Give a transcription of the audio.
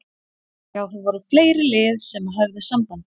Já það voru fleiri lið sem að höfðu samband.